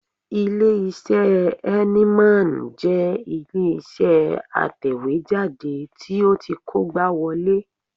Ilé-iṣẹ́ Heineman jẹ́ ilé-iṣẹ́ atẹ̀wéjáde tó ti kógbáwọlé